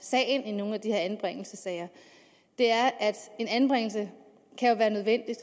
sagen i nogle af de her anbringelsessager er at en anbringelse kan være nødvendig